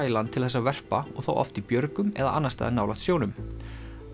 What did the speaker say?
í land til þess að verpa og þá oft í björgum eða annars staðar nálægt sjónum